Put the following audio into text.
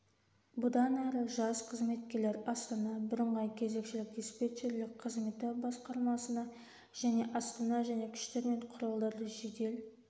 бұдан әрі жас қызметкерлер астана бірыңғай кезекшілік-диспетчерлік қызметі басқармасына және астана және күштер мен құралдарды жедел